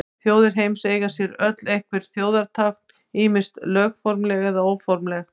Þjóðir heims eiga sér öll einhver þjóðartákn, ýmist lögformleg eða óformleg.